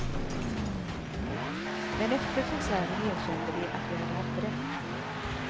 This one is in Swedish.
Men efter konserten erkände de att vi hade haft rätt.